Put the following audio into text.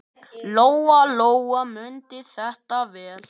Lóa-Lóa mundi þetta vel.